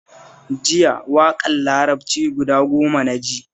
Jiya waƙar larabci guda goma na ji